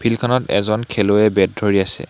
Field খনত এজন খেলৱৈয়ে বেট ধৰি আছে।